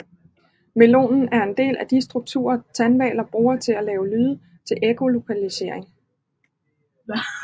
Melonen er en del af de strukturer tandhvaler bruger til at lave lyde til ekkolokalisering